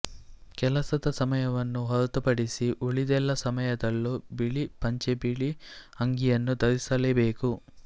ಕೆಲಸದ ಸಮಯವನ್ನು ಹೊರತುಪಡಿಸಿ ಉಳಿದೆಲ್ಲ ಸಮಯದಲ್ಲೂ ಬಿಳಿ ಪಂಚೆಬಿಳಿ ಅಂಗಿಯನ್ನು ಧರಿಸಲೇಬೇಕು